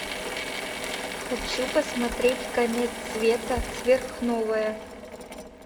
хочу посмотреть конец света сверхновая